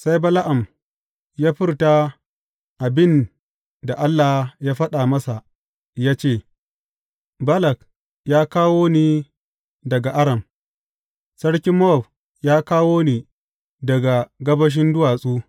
Sai Bala’am ya furta abin da Allah ya faɗa masa ya ce, Balak ya kawo ni daga Aram, sarkin Mowab ya kawo ni daga gabashin duwatsu.